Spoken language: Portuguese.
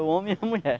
O homem e a mulher.